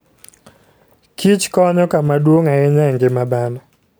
kichkonyo kama duong' ahinya e ngima dhano.